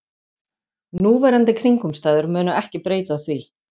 Núverandi kringumstæður munu ekki breyta því